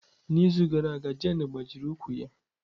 N'izu gara aga Jane gbajiri ụkwụ ya.